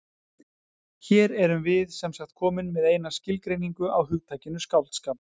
Hér erum við semsagt komin með eina skilgreiningu á hugtakinu skáldskap.